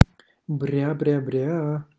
бря бря бря